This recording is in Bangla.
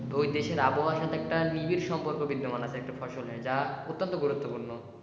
বৈদেশের আবহাওার সাথে একটা নিবিড় সম্পর্ক একটা ফসলের যা অত্যন্ত গুরুত্বপূর্ণ।